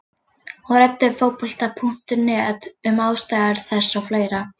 Hún ræddi við Fótbolta.net um ástæður þess og fleira.